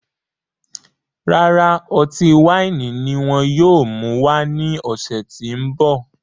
Rárá, ọtí waini ní wọn yóò mú wá ní ọsẹ ti n bọ